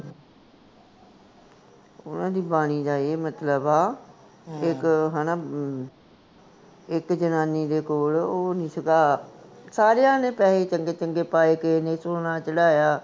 ਓਹਨਾ ਦੀ ਬਾਣੀ ਦਾ ਏ ਮਤਲਬ ਆ, ਇਕ ਹੈਨਾ ਇਕ ਜਨਾਨੀ ਕੋਲ ਉਹ ਨੀ ਸੀਗਾ, ਸਾਰਿਆਂ ਨੇ ਪੈਸੇ ਚੰਗੇ ਚੰਗੇ ਪਾਏ, ਕਿਸੇ ਨੇ ਸੋਨਾ ਚੜ੍ਹਾਇਆ